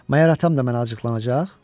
Məgər atam da mənə acıqlanacaq?